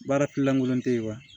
Baara kilankolon tɛ yen wa